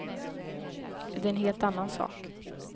Det är en helt annan sak.